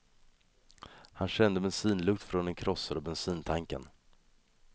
Han kände bensinlukt från den krossade bensintanken.